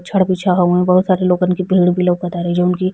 छड़ बिछा हउवन बहुत सारे लोगन के भीड़ भी लोकतारे जउन की --